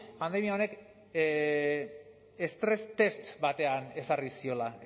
pandemia honek estres test batean ezarri ziola